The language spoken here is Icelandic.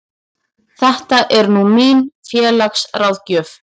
Þetta er nú mín félagsráðgjöf.